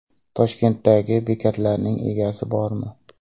Toshkentdagi bekatlarning egasi bormi?.